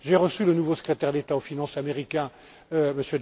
J'ai reçu le nouveau secrétaire d'État aux finances américain,